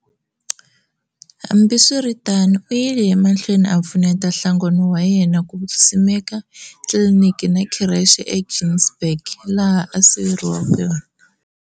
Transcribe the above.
Hmabiswiritano u yile emahlweni a pfuneta nhlanagno wa yena ku simeka Kliniki na Khireche eGinsberg laha a siveriwe kona.